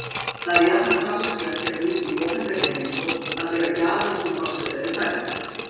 Það er jafnan talsvert verkefni í opinberri heimsókn að bera gjafir sem forseta eru færðar.